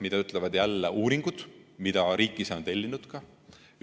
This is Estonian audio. Mida ütlevad jälle uuringud, mida riik ka ise on tellinud?